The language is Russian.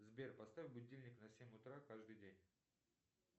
сбер поставь будильник на семь утра каждый день